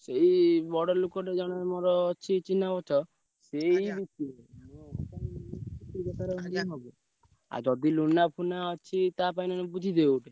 ସେଇ ବଡ ଲୋକଟେ ଜଣେ ମୋର ଅଛି ଚିହ୍ନା ପରିଚୟ ସେଇ ଗୋଟିଏ ବେପାର ଆଉ ଯଦି Luna ଫୁନା ଅଛି ତା ପାଇଁ ନହେଲେ ବୁଝିଦିଅ ଗୋଟେ।